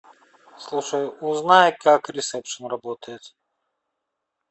слушай узнай как ресепшн работает